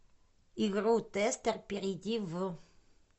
игру тестер перейди в